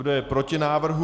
Kdo je proti návrhu?